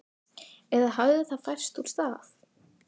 Eða hafði það færst úr stað?